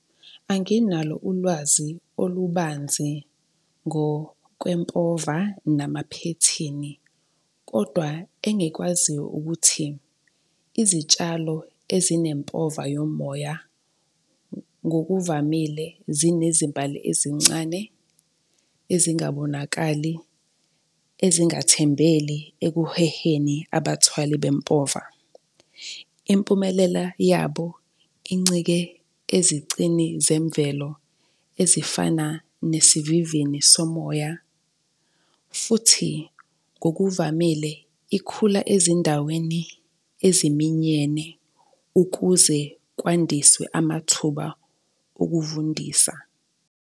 Anginalo ulwazi olubanzi ngokwempova namaphethini, kodwa engikwaziyo ukuthi izitshalo ezinempova yomoya ngokuvamile zinezimbali ezincane ezingabonakali ezingathembele ekuheheni abathwali bempova. Impumelela yabo incike ezicini zemvelo ezifana nesivivini somoya, futhi kokuvamile ikhula ezindaweni eziminyene ukuze kwandiswe amathuba okuvundisa.